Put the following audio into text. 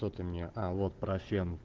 кто ты мне а вот про фен